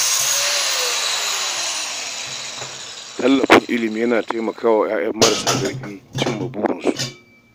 Tallafin ilimi yana taimaka wa 'ya'yan marasa ƙarfi cimma burikansu